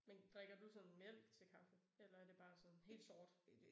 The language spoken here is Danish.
Men drikker du sådan mælk til kaffe eller er det bare sådan helt sort?